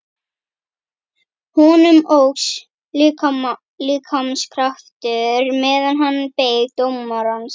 Honum óx líkamskraftur meðan hann beið dómarans.